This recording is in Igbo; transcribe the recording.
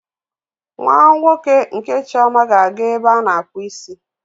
Nwa nwoke nke Chioma ga-aga ebe a na-akpụ isi.